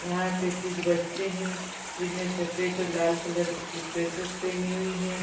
यहाँ पे कुछ बच्चें हैं जिन्होंने सफ़ेद और लाल कलर की ड्रेसेस पहनी हुई हैं।